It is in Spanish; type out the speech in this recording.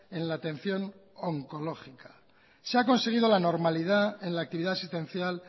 en la atención oncológica se ha conseguido la normalidad en la actividad asistencial